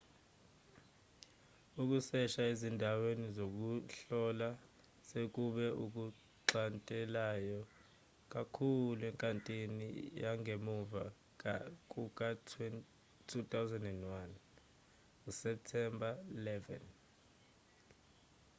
ukusesha ezindaweni zokuhlola sekube okuxhantelayo kakhulu enkathini yangemva kuka-2001 septemba 11